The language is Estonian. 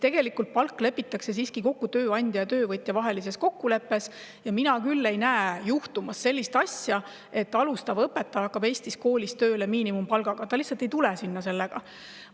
Tegelikult lepitakse palk siiski kokku tööandja ja töövõtja vahelise kokkuleppe tulemusena ja mina küll ei näe juhtumas sellist asja, et alustav õpetaja asub Eesti koolis tööle miinimumpalga eest, sest ta lihtsalt ei tule sinna sellise palga peale.